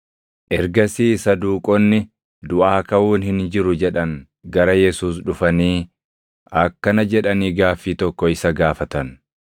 Ergasii Saduuqonni, duʼaa kaʼuun hin jiru jedhan gara Yesuus dhufanii akkana jedhanii gaaffii tokko isa gaafatan;